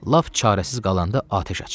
Lap çarəsiz qalanda atəş aç.